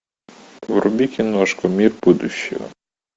вруби киношку мир будущего